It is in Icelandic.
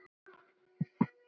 Um hvað fjallar það?